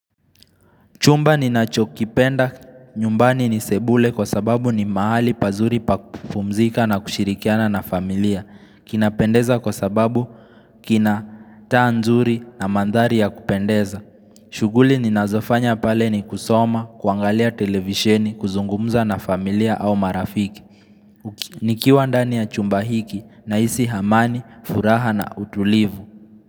Chumba ninacho kipenda nyumbani ni sebule kwa sababu ni mahali pazuri pa kupumzika na kushirikiana na familia. Kinapendeza kwa sababu kinataa nzuri na mandhari ya kupendeza. Chughuli ninazofanya pale ni kusoma, kuangalia televisheni, kuzungumza na familia au marafiki. Nikiwa ndani ya chumba hiki na hisi hamani, furaha na utulivu.